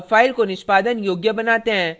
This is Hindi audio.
अब file को निष्पादन योग्य बनाते हैं